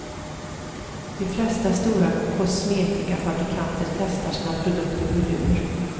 De flesta stora kosmetikafabrikanter testar sina produkter på djur.